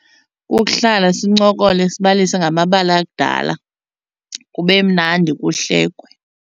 Kukuhlala sincokole sibalise ngamabali akudala kube mnandi kuhlekwe.